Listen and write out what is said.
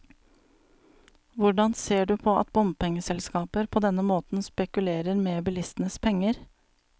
Hvordan ser du på at bompengeselskaper på denne måten spekulerer med bilistenes penger?